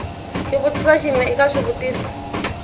xivutiso xin we eka swivutiso